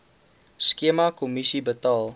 skema kommissie betaal